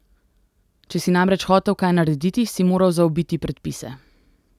Če si namreč hotel kaj narediti, si moral zaobiti predpise.